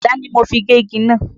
Àdá ni mo fẹ́ fi gé igi náà.